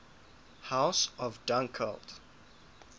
house of dunkeld